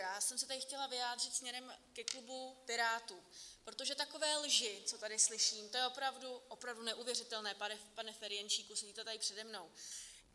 Já jsem se tady chtěla vyjádřit směrem ke klubu Pirátů, protože takové lži, co tady slyším, to je opravdu neuvěřitelné, pane Ferjenčíku, sedíte tady přede mnou.